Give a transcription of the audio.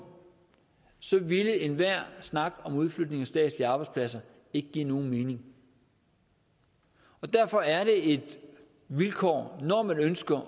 ville enhver snak om udflytning af statslige arbejdspladser ikke give nogen mening og derfor er det et vilkår når man ønsker